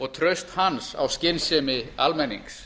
og traust hans á skynsemi almennings